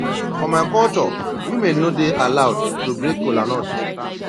for my culture women no dey allowed to break kola nut